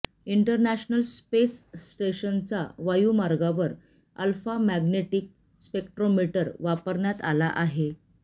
international space स्टेशनचा वायुमार्गावर alpha magnetic spectrometer वापरण्यात आला आहे